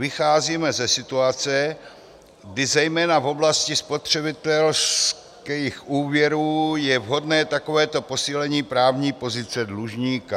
Vycházíme ze situace, kdy zejména v oblasti spotřebitelských úvěrů je vhodné takovéto posílení právní pozice dlužníka.